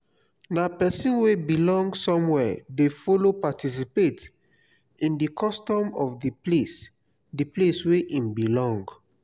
na persin wey belong somewhere de follow participate in di custom of di place di place wey im belong